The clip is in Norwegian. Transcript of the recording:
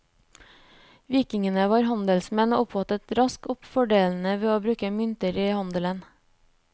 Vikingene var handelsmenn og oppfattet raskt fordelene ved å bruke mynter i handelen.